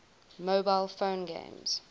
mobile phone games